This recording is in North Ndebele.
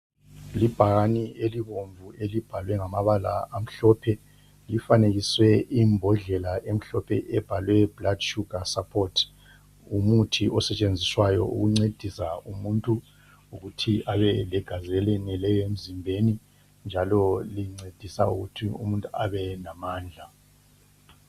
Libhakane elibomvu elibhalwe ngamabala amhlophe lifanekiswe imbodlela emhlophe ebhalwe blood sugar support ngumuthi osetshenziswayo ukuncedisa umuntu ukuthi abe legazi eleneleyo emzimbeni njalo lincedisa ukuthi umuntu abe lamandla.